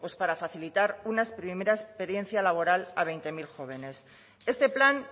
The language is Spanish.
pues para facilitar una primera experiencia laboral a veinte mil jóvenes este plan